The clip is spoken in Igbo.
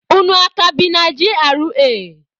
Unu a ka bi na GRA?